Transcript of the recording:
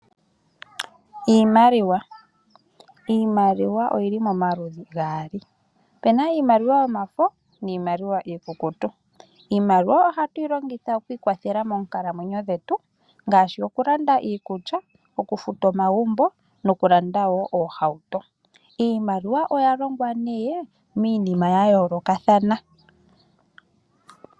Iimaliwa. Iimaliwa oyi li pamaludhi gaali. Opu na iimaliwa yomafo, niimaliwa iikukutu. Iimaliwa ohatu yi longitha okwiikwathela moonkalamwenyo dhetu, ngaashi okulanda iikulya, okufuta omagumbo nokulanda wo oohauto. Iimaliwa oya longwa nduno miinima ya yoolokathana.